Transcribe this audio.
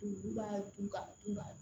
b'a dun ka dun ka